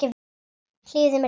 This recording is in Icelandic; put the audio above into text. Hlífðu mér við því.